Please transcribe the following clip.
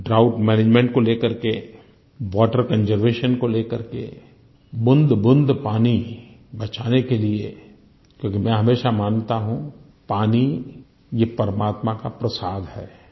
drought management को ले करके वाटर कंजर्वेशन को ले करके बूँदबूँद पानी बचाने के लिये क्योंकि मैं हमेशा मानता हूँ पानी ये परमात्मा का प्रसाद है